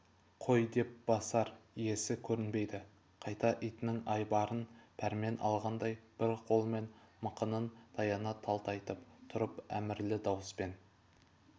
қой деп басар иесі көрінбеді қайта итінің айбарынан пәрмен алғандай бір қолымен мықынын таяна талтайып тұрып әмірлі дауыспен